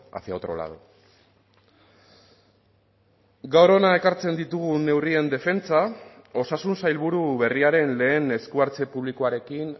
hacia otro lado gaur hona ekartzen ditugun neurrien defentsa osasun sailburu berriaren lehen esku hartze publikoarekin